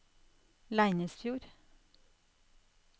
Leinesfjord